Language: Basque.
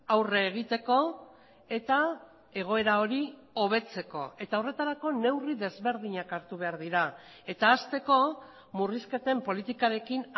aurre egiteko eta egoera hori hobetzeko eta horretarako neurri desberdinak hartu behar dira eta hasteko murrizketen politikarekin